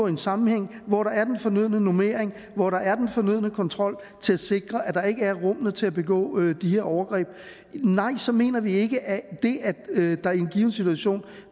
en sammenhæng hvor der er den fornødne normering hvor der er den fornødne kontrol til at sikre at der ikke er rum med til at begå de her overgreb nej så mener vi ikke at det at der i en given situation